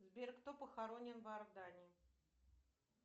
сбер кто похоронен в иордании